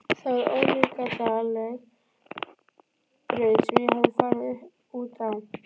Það var ólíkindaleg braut sem ég hafði farið út á.